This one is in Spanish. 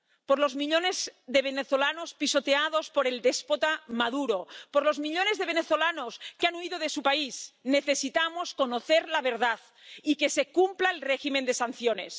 Por los millones de venezolanos pisoteados por el déspota Maduro, por los millones de venezolanos que han huido de su país, necesitamos conocer la verdad y que se cumpla el régimen de sanciones.